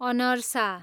अनर्सा